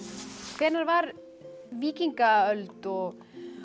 hvenær var víkingaöld og